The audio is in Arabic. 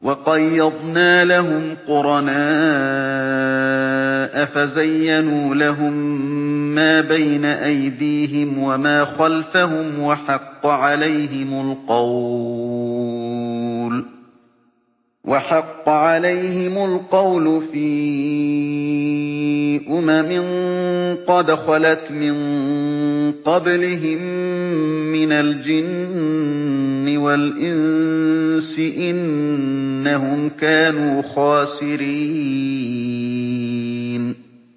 ۞ وَقَيَّضْنَا لَهُمْ قُرَنَاءَ فَزَيَّنُوا لَهُم مَّا بَيْنَ أَيْدِيهِمْ وَمَا خَلْفَهُمْ وَحَقَّ عَلَيْهِمُ الْقَوْلُ فِي أُمَمٍ قَدْ خَلَتْ مِن قَبْلِهِم مِّنَ الْجِنِّ وَالْإِنسِ ۖ إِنَّهُمْ كَانُوا خَاسِرِينَ